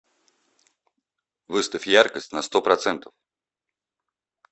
выставь яркость на сто процентов